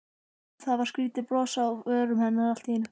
Það var skrýtið bros á vörum hennar allt í einu.